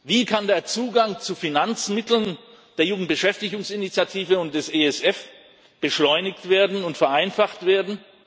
Wie kann der Zugang zu Finanzmitteln der Jugendbeschäftigungsinitiative und des ESF beschleunigt und vereinfacht werden?